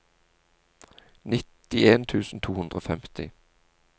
nittien tusen to hundre og femti